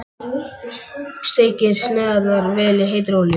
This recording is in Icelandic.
Steikið sneiðarnar í vel heitri olíu.